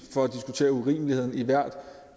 for at diskutere urimeligheden i hvert